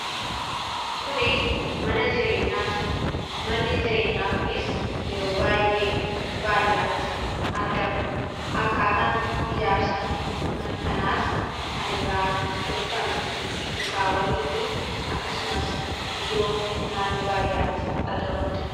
kuni mana jireenyaati manni jireenyaa kunis yeroo baa'yee baadiyaatti argama. akkaataan ijaarsa mana kanaas kan irraa tolfame mukaawwanii fi akkasumas biyyoo naannoo baadiyaatti argamanidha.